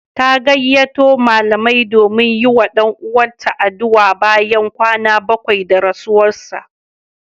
Ta gayyato malamai domin yi wa ɗan uwanta addu'a bayan kwana bakwai da rasuwarsa.